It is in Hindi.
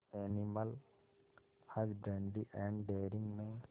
एनिमल हजबेंड्री एंड डेयरिंग में